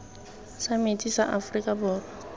sa metsi sa aforika borwa